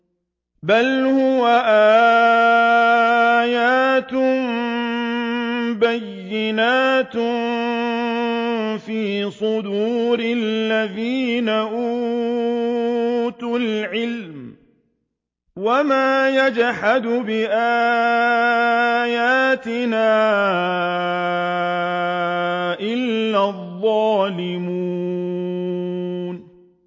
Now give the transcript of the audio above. بَلْ هُوَ آيَاتٌ بَيِّنَاتٌ فِي صُدُورِ الَّذِينَ أُوتُوا الْعِلْمَ ۚ وَمَا يَجْحَدُ بِآيَاتِنَا إِلَّا الظَّالِمُونَ